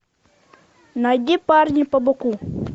найди парни побоку